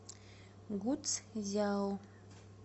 гуцзяо